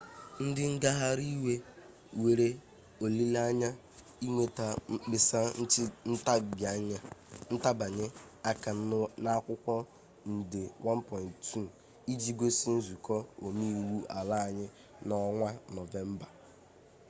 ndi ngaghari iwe nwere olile-anye inweta mkpesa ntibanye aka n'akwukwo nde 1.2 iji gosi nzuko ome-iwu ala-anyi n'onwa novemba